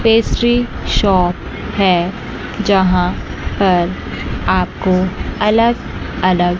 Pastry shop है। जहां पर आपको अलग अलग--